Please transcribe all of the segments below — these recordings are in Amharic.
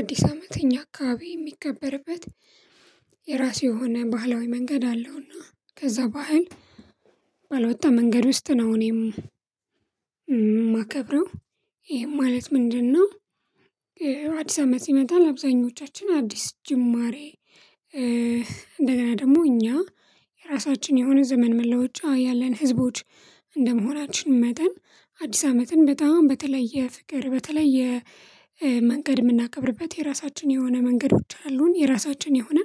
አዲስ አመት አካባቢ የሚከበርበት የራሱ የሆነ ባህላዊ መንገድ አለውና ከዛ ባህል ባልወጣ መንገድ ውስጥ ነው እኔም ማከብረው ይሄ ማለት ምንድነው? አዲስ አመት ሲመጣ ለአብዛኞቻችን አዲስ ጅማሬ። እንደገና ደግሞ እኛ የራሳችን የሆነ ዘመን መለወጫ ያለን ህዝቦች እንደመሆናችን መጠን አዲስ አመትን በጣም በተለየ ፍቅር በተለየ መንገድ የምናከብርበት የራሳችን የሆነ መንገዶች አሉን የራሳችን የሆነ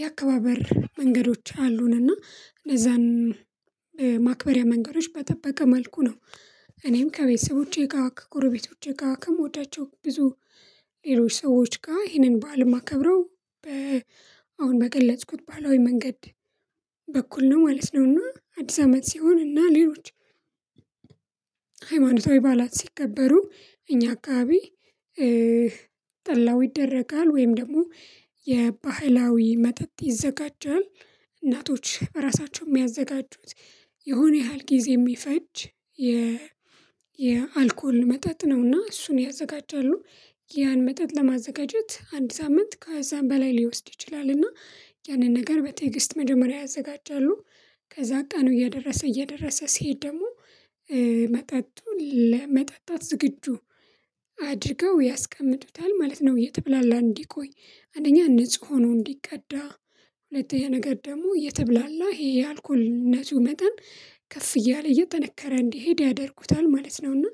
የአከባበር መንገዶች አሉን እና ለዛን ማክበሪያ መንገዶች በጠበቀ መልኩ ነው። እኔም ከቤተሰቦቼ ጋር ከጎረቤቶቼ ጋር ከምወዳቸው ብዙ ሌሎች ሰዎች ጋር ይሄንን በዓል የማከብረው በ አሁን በገለጽኩት ባህላዊ መንገድ በኩል ነው ማለት ነውና። አዲስ አመት ሲሆንና ሌሎች ሃይማኖታዊ ባህላት ሲከበሩ እኛ አካባቢ። ጠላው ይደረጋል ወይም ደግሞ የባህላዊ መጠጥ ይዘጋጃል እናቶች ራሳቸው የሚያዘጋጁት። የሆነ ያህል ጊዜ የሚፈጅ የ የአልኮልን መጠጥ ነውና እሱን ያዘጋጃሉ። ያን መጠጥ ለማዘጋጀት አንድ ሳምንት ከዛም በላይ ሊወስድ ይችላልና ያንን ነገር በትግስት መጀመሪያ ያዘጋጃሉ። ከዛ ቀኑ እየደረሰ እየደረሰ ሲሄድ ደግሞ መጠጡን ለመጠጣት ዝግጁ አድገው ያስቀምጡታል ማለት ነው። የተብላላ እንዲቆይ አንደኛ ንጹህ ሆኖ እንዲቀዳ ሁለተኛ ነገር ደግሞ የተብላላ ይሄ የአልኮልነቱ መጠን ከፍ እያለ እየጠነከረ እንዲሄድ ያደርጉታል ማለት ነው። እና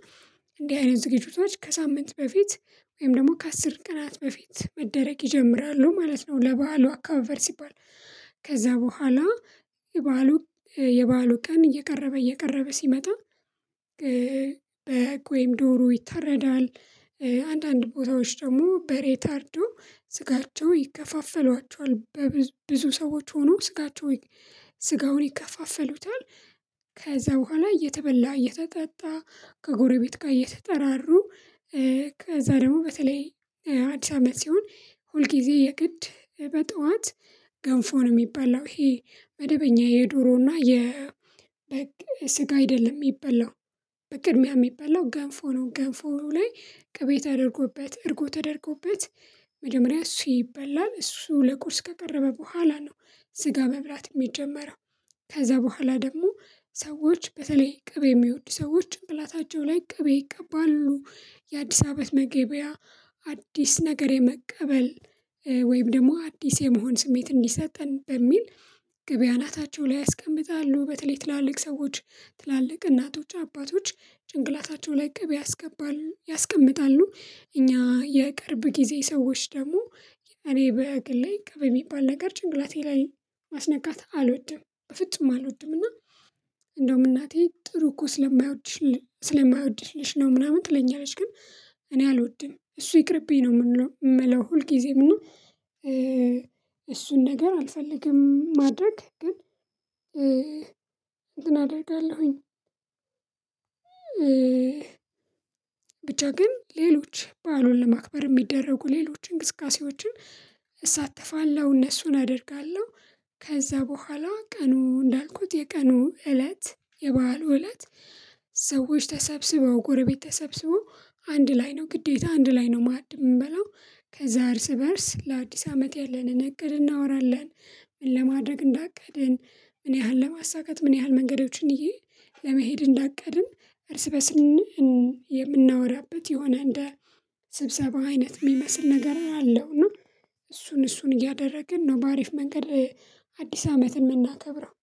እንዲህ አይነት ዝግጅቶች ከሳምንት በፊት ወይም ደግሞ ከአስር ቀናት በፊት መደረቅ ይጀምራሉ ማለት ነው። ለበዓሉ አከባበር ሲባል ከዛ በኋላ የበአሉ የበአሉ ቀን እየቀረበ እየቀረበ ሲመጣ በግ ወይም ዶሮ ይታረዳል። አንዳንድ ቦታዎች ደግሞ በሬ ታርዶ ስጋቸውን ይከፋፈሏቸዋል በብዙ ሰዎች ሆኖ ስጋቸው ስጋውን ይከፋፈሉታል። ከዛ በኋላ እየተበላ እየተጠጣ ከጎረቤት ጋር እየተጠራሩ ከዛ ደግሞ በተለይ አዲስ አመት ሲሆን ሁል ጊዜ የግድ በጧት ገንፎ የሚባለው ይሄ መደበኛ የዶሮና የበግ ስጋ አይደለም የሚበላው በቅድሚያ የሚበላው ገንፎ ነው ገንፎ ነው ላይ ቅቤ ተደርጎበት እርጎ ተደርጎበት። መጀመሪያ እሱ ይበላል እሱ ለቁርስ ከቀረበ በኋላ ነው። ስጋ መብላት የሚጀመረው ከዛ በኋላ ደግሞ ሰዎች በተለይ ቅቤ የሚወድ ሰዎች ጭንቅላታቸው ላይ ቅቤ ይቀባሉ የአዲስ አመት መገበያ። አዲስ ነገር የመቀበል ወይም ደግሞ አዲስ የመሆን ስሜት እንዲሰጠን በሚል ቅቤ አናታቸው ላይ ያስቀምጣሉ። በተለይ ትላልቅ ሰዎች ትላልቅ እናቶች አባቶች ጭንቅላታቸው ላይ ቅብ ያስቀባሉ ያስቀምጣሉ እኛ የቅርብ ጊዜ ሰዎች ደግሞ የእኔ በግሌ ቅቤ ሚባል ነገር ጭንቅላቴ ላይ ማስነካት አልወድም በፍጹም አልወድም። እና እንደውም እናቴ ጥሩ እኮ ስለማይወድሽ ስለማይወድሽልሽ ነው ምናምን ትለኛለች ግን እኔ አልወድም እሱ ይቅርብኝ ነው። የምንለው የምለው ሁል ጊዜም እና እሱን ነገር አልፈልግም ማድረግ ግን እንትን አደርጋለሁኝ። ብቻ ግን ሌሎች በዓሉን ለማክበር የሚደረጉ ሌሎችን እንቅስቃሴዎችን እሳተፋለሁ እነሱን አደርጋለሁ። ከዛ በኋላ ቀኑ እንዳልኩት የቀኑ እለት የበአሉ እለት ሰዎች ተሰብስበው ጎረቤት ተሰብስበው አንድ ላይ ነው ግዴታ አንድ ላይ ነው ማዕድ የምንበለው ከዛ እርስ በእርስ ለአዲስ አመት ያለንን እቅድ እናወራለን። ምን ለማድረግ እንዳቀድን ምን ያህል ለማሳካት ምን ያህል መንገዶችን እዬ ለመሄድ እንዳቀድን እርስ በርስ የምናወራበት የሆነ እንደ ስብሰባ አይነት የሚመስል ነገር አለው። እና እሱን እሱን እያደረግን ነው በአሪፍ መንገድ አዲስ አመት ምናከብረው።